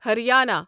Haryana